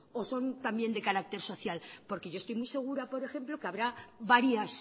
o son también de carácter social porque yo estoy muy segura por ejemplo que habrá varias